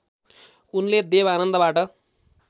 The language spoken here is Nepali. उनले देव आनन्दबाट